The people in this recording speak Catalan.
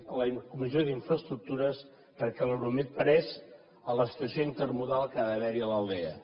a la comissió d’infraestructures perquè l’euromed parés a l’estació intermodal que ha d’haver hi a l’aldea